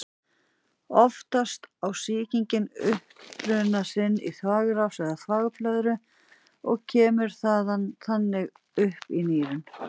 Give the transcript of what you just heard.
Oftast á sýkingin uppruna sinn í þvagrás eða þvagblöðru og kemst þaðan upp í nýrun.